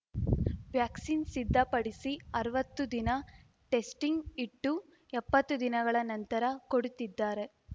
vaccine ಸಿದ್ಧಪಡಿಸಿ ಅರ್ವತ್ತು ದಿನ ಟೆಸ್ಟಿಂಗ್‌ ಇಟ್ಟು ಎಪ್ಪತ್ತು ದಿನಗಳ ನಂತರ ಕೊಡುತ್ತಿದ್ದಾರೆ